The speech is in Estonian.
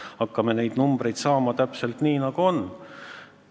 Me hakkame ka neid numbreid saama täpselt nii, nagu on ette nähtud.